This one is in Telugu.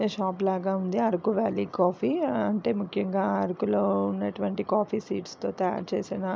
షాప్ లాగా ఉంది అరకు వ్యాలీ కాఫీ అంటే ముఖ్యముగా అరుకు లో ఉన్నటువంటి కాఫీ సీడ్స్ తో తయారుచేసిన --